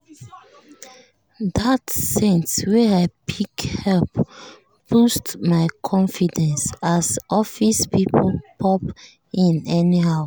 that scent wey i pick help boost my confidence as office people pop in anyhow.